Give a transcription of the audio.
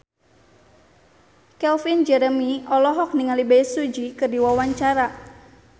Calvin Jeremy olohok ningali Bae Su Ji keur diwawancara